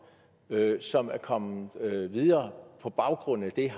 som er kommet videre på baggrund af det